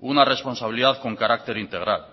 una responsabilidad con carácter integral